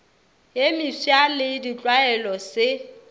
ye mefsa le ditlwaelo se